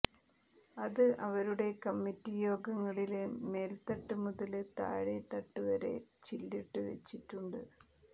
അത് അവരുടെ കമ്മിറ്റി യോഗങ്ങളില് മേല്ത്തട്ട് മുതല് താഴേത്തട്ട് വരെ ചില്ലിട്ടു വെച്ചിട്ടുണ്ട്